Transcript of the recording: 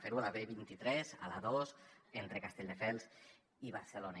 fer ho a la b vint tres a l’a dos entre castelldefels i barcelona